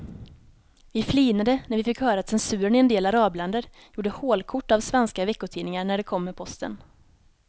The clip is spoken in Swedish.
Vi flinade när vi fick höra att censuren i en del arabländer gjorde hålkort av svenska veckotidningar när de kom med posten.